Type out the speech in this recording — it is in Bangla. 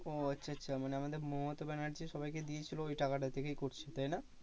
ও আচ্ছা আচ্ছা মানে আমাদের মমতা ব্যানার্জি সবাইকে দিয়েছিলো ওইটা থেকেই করছে তাই না?